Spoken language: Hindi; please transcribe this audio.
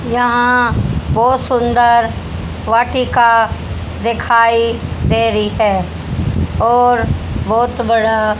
यहां बहुत सुंदर वाटिका दिखाई दे रही है और बहुत बड़ा--